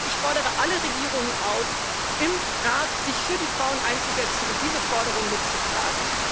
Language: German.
Ich fordere alle Regierungen auf, sich im Rat für die Frauen einzusetzen und diese Forderung mitzutragen.